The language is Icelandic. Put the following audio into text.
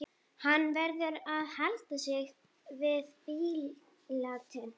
Hann verður að halda sig við blýantinn.